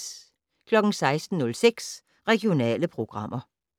16:06: Regionale programmer